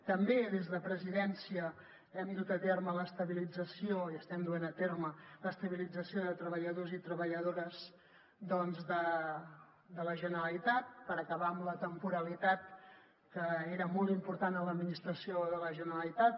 també des de presidència hem dut a terme l’estabilització i estem duent a terme l’estabilització de treballadors i treballadores de la generalitat per acabar amb la temporalitat que era molt important a l’administració de la generalitat